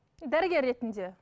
дәрігер ретінде